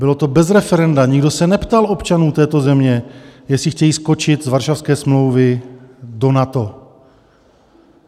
Bylo to bez referenda, nikdo se neptal občanů této země, jestli chtějí skočit z Varšavské smlouvy do NATO.